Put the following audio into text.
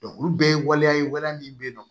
olu bɛɛ ye waleya ye waleya min bɛ yen nɔ